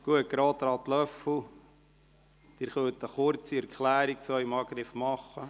Gut, Grossrat Löffel, Sie können eine kurze Erklärung zum Angriff gegen Sie abgeben.